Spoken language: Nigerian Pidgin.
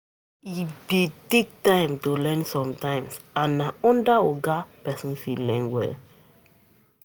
E det take time to learn sometimes and na under oga person fit learn